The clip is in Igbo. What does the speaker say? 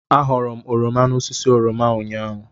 Aghọrọ m oroma n'osisi oroma ụnyaahụ.